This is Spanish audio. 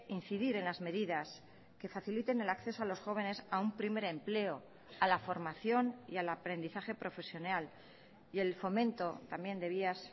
incidir en las medidas que faciliten el acceso a los jóvenes a un primer empleo a la formación y al aprendizaje profesional y el fomento también de vías